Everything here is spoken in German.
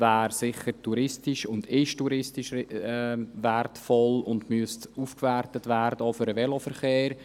Sie wäre und ist touristisch wertvoll und müsste auch für den Veloverkehr aufgewertet werden.